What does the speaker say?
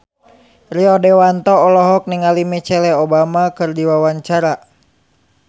Rio Dewanto olohok ningali Michelle Obama keur diwawancara